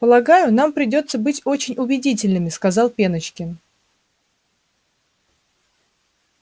полагаю нам придётся быть очень убедительными сказал пеночкин